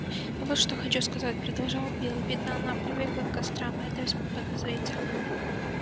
я вот что хочу сказать продолжал билл видно она привыкла к кострам а это весьма подозрительно